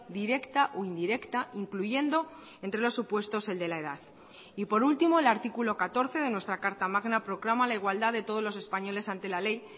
directa o indirecta incluyendo entre los supuestos el de la edad y por último el artículo catorce de nuestra carta magna proclama la igualdad de todos los españoles ante la ley